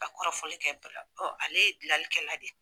Ka kɔrɔfɔli kɛ ale ye dilalikɛla de.